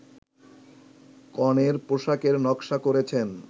কনের পোশাকের নকশা করেছেন